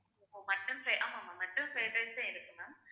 ஓ mutton fry ஆமா ஆமா mutton fried rice உ இருக்கு ma'am